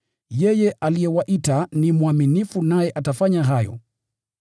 Yeye aliyewaita ni mwaminifu naye atafanya hayo.